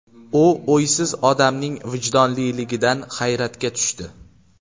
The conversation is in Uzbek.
U uysiz odamning vijdonliligidan hayratga tushdi.